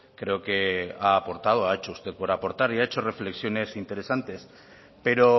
creo que ha aportado ha hecho usted por aportar y ha hecho reflexiones interesantes pero